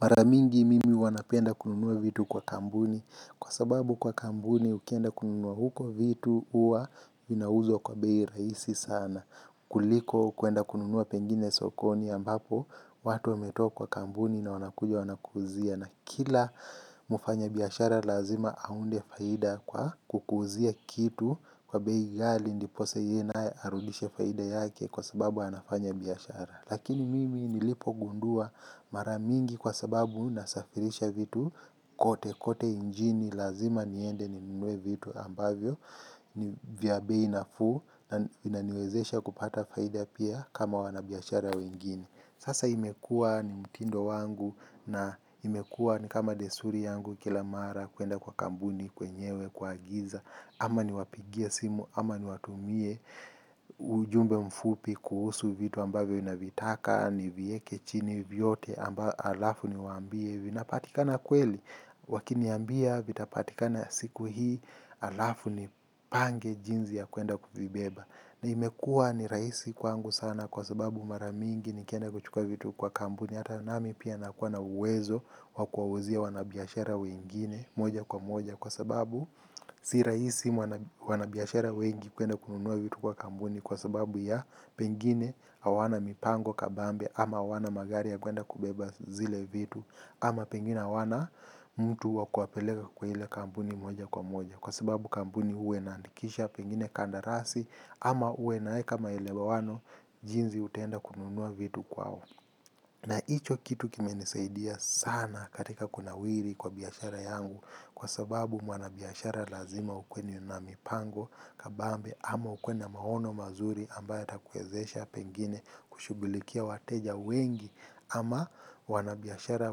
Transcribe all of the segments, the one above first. Maramingi mimi huwanapenda kununua vitu kwa kambuni kwa sababu kwa kampuni ukienda kununua huko vitu uwa zinauzwa kwa bei rahisi sana. Kuliko kwenda kununua pengine sokoni ambapo watu wame toa kwa kambuni na wanakuja wanakuuzia. Na kila mufanya biashara lazima aunde faida kwa kukuuzia kitu kwa bei ghali ndiposa yeyenaye arudishe faida yake kwa sababu anafanya biashara. Lakini mimi nilipo gundua maramingi kwa sababu nasafirisha vitu kote kote injini lazima niende ninunue vitu ambavyo vya be inafuu na inaniwezesha kupata faida pia kama wanabiashara wengine. Sasa imekuwa ni mtindo wangu na imekuwa ni kama desuri yangu kila mara kwenda kwa kambuni, kwenyewe, kuagiza ama ni wapigie simu, ama ni watumie ujumbe mfupi kuhusu vitu ambavyo navitaka ni viekechini vyote amba alafu ni waambie vina patikana kweli. Wakini ambia vitapatikana siku hii alafu ni pange jinzi ya kuenda kuzibeba. Na imekua ni raisi kwangu sana kwa sababu maramingi nikienda kuchukua vitu kwa kambuni. Hata nami pia nakua na uwezo wakuwa uzia wanabiashara wengine moja kwa moja kwa sababu siraisi mwana wanabiashara wengi kwenda kununua vitu kwa kambuni kwa sababu ya pengine hawana mipango kabambe ama hawana magari ya kwenda kubeba zile vitu ama pengine hawana mtu wakuwapeleka kwa ile kambuni moja kwa moja kwa sababu kambuni uwa inaandikisha pengine kandarasi ama uwe inae ka ma ele wano jinzi utaenda kununua vitu kwao. Na icho kitu kime nisaidia sana katika kunawiri kwa biashara yangu kwa sababu wanabiashara lazima ukwe ni na mipango kabambe ama ukuwe na maono mazuri ambayo ya takuwezesha pengine kushughulikia wateja wengi ama wanabiashara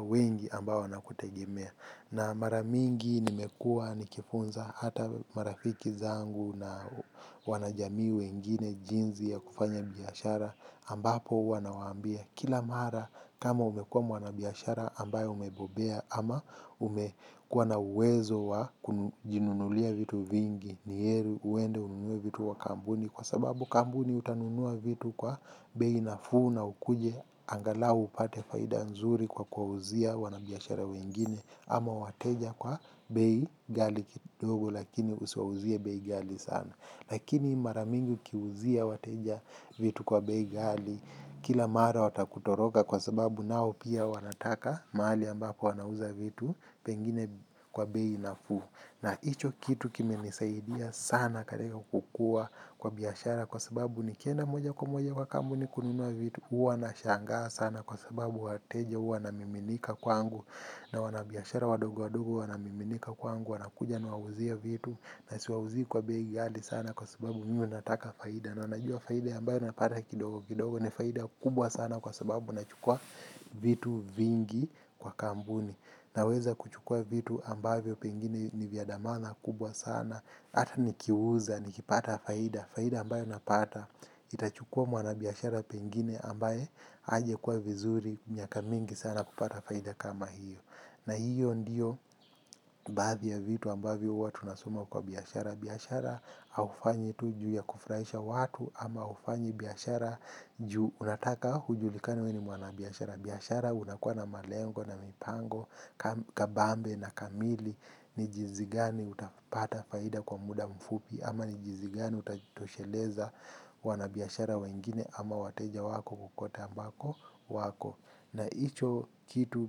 wengi ambao wanakutegemea. Na maramingi nimekuwa nikifunza hata marafiki zangu na wanajamii we ngine jinzi ya kufanya biashara ambapo huwanawaambia kila mara kama umekuwa mwana biashara ambayo umebobea ama umekuwa na uwezo wa kujinunulia vitu vingi ni heri uende ununue vitu wa kambuni kwa sababu kambuni utanunua vitu kwa beinafuu na ukuje angalau upate faida nzuri kwa kuwa uzia wanabiashara wengine. Ama wateja kwa bei ghali kidogo lakini usiwauzie bei ghali sana. Lakini maramingi ukiuzia wateja vitu kwa bei ghali kila mara watakutoroka kwa sababu nao pia wanataka mahali ambapo wanauza vitu pengine kwa bei na fuu. Na hicho kitu kime nisaidia sana katika kukua kwa biashara. Kwa sababu nikienda moja kwa moja kwa kambuni kunua vitu uwa na shangaa sana kwa sababu wateja uwa wana miminika kwa angu. Na wanabiashara wadogo wadogo, wanamiminika kwangu, wanakuja nuwauzie vitu. Na siwauzii kwa bei ghali sana kwa sababu mimi nataka faida. Na unajua faida ambayo napata kidogo kidogo ni faida kubwa sana kwa sababu nachukua vitu vingi kwa kambuni. Na weza kuchukua vitu ambayo pengine ni vyadamana kubwa sana. Hata ni kiuza, ni kipata faida, faida ambayo napata itachukua mwanabiashara pengine ambaye aja kuwa vizuri miaka mingi sana kupata faida kama hiyo. Na hiyo ndiyo baathi ya vitu ambavyo huwatu nasoma kwa biashara. Biashara haufanyi tu ju ya kufuraisha watu ama haufanyi biashara juu unataka ujulikane wee ni mwanabiashara. Biashara unakuwa na malengo na mipango kabambe na kamili ni jinzigani utapata faida kwa muda mfupi ama ni jinzigani utajitosheleza wanabiashara wengine ama wateja wako kokote ambako wako na icho kitu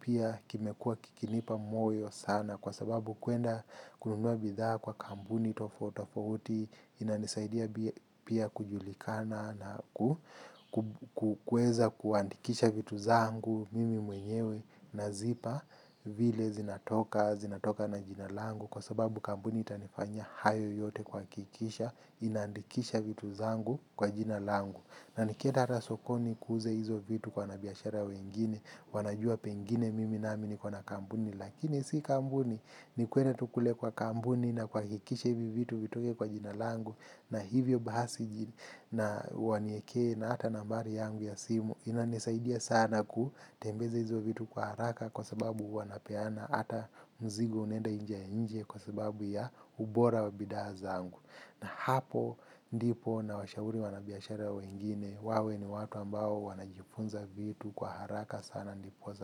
pia kimekuwa kikinipa moyo sana kwa sababu kwenda kununua bidhaa kwa kambuni tofauti tofauti inanisaidia pia kujulikana na ku kukueza kuandikisha vitu zangu. Mimi mwenyewe nazipa vile zinatoka, zinatoka na jinalangu. Kwa sababu kambuni itanifanya hayo yote kuha kikisha. Inaandikisha vitu zangu kwa jinalangu. Na nikienda rasokoni kuuze hizo vitu kwa wanabiashara wengine. Wanajua pengine mimi nami ni ko na kambuni. Lakini si kambuni ni kwenda tukule kwa kambuni. Na kuha kikisha hivi vitu vitoke kwa jinalangu. Na hivyo bahasi na waniekee na ata nambari yangu ya simu. Inanisaidia sana ku tembeza hizo vitu kwa haraka kwa sababu wanapeana ata mzigo unaenda inje ya inje kwa sababu ya ubora wabidhaa zangu. Na hapo ndipo na washauri wanabiashara wengine wawe ni watu ambao wanajifunza vitu kwa haraka sana ndipoza.